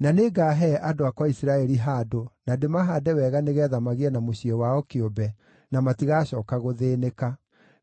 Na nĩngaahe andũ akwa a Isiraeli handũ na ndĩmahaande wega nĩgeetha magĩe na mũciĩ wao kĩũmbe, na matigacooka gũthĩĩnĩka.